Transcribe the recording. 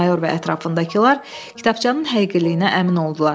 Mayor və ətrafındakılar kitabçanın həqiqiliyinə əmin oldular.